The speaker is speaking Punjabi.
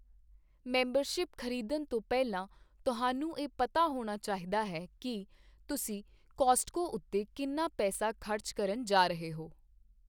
ਮੈਂਬਰਸ਼ਿਪ ਖਰੀਦਣ ਤੋਂ ਪਹਿਲਾਂ, ਤੁਹਾਨੂੰ ਇਹ ਪਤਾ ਹੋਣਾ ਚਾਹੀਦਾ ਹੈ ਕਿ ਤੁਸੀਂ ਕੌਸਟਕੋ ਉੱਤੇ ਕਿੰਨਾ ਪੈਸਾ ਖਰਚ ਕਰਨ ਜਾ ਰਹੇ ਹੋ।